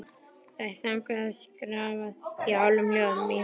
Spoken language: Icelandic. Það er þagað og skrafað í hálfum hljóðum í húsunum.